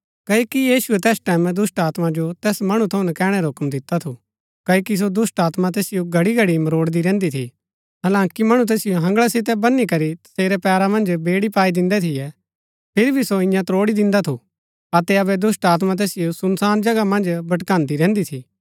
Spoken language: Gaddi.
क्ओकि यीशुऐ तैस टैमैं दुष्‍टात्मा जो तैस मणु थऊँ नकैणै रा हुक्म दिता थू कओकि सो दुष्‍टात्मा तैसिओ घड़ीघड़ी मरोडदी रैहन्‍दी थी हालांकि मणु तैसिओ हँगला सितै बनी करी तसेरै पैरा मन्ज बेड़ी पाई दिन्दै थियै फिरी भी सो इआं त्रोड़ी दिन्दा थु अतै अबै दुष्‍टात्मा तैसिओ सुनसान जगह मन्ज भटकान्दी रैहन्‍दी थी